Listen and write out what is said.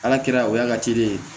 Ala kɛra o y'a ka ci de ye